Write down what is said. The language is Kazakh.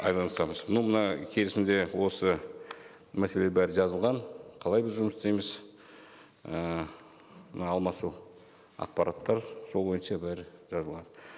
айналысамыз ну мына келісімде осы мәселе бәрі жазылған қалай біз жұмыс істейміз і мына алмасу ақпараттар сол бойынша бәрі жазылған